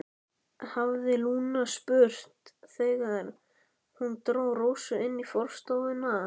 hafði Lúna spurt þegar hún dró Rósu inn í forstofuna.